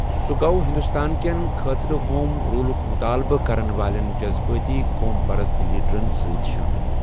سُہ گوٚو ہندوستان کٮ۪ن خٲطرٕ ہوم رولُک مُطالبہٕ کرن والٮ۪ن جزبٲتۍ قوم پرست لیڑرن سۭتۍ شٲمِل۔